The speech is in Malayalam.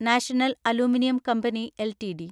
national aluminium company LTD